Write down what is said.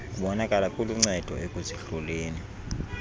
kubonakala kuluncedo ekuzihloleni